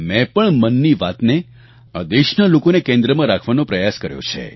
મેં પણ મનની વાતને આ દેશના લોકોને કેન્દ્રમાં રાખવાનો પ્રયાસ કર્યો છે